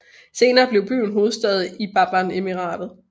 Senere blev byen hovedstad i Baban Emiratet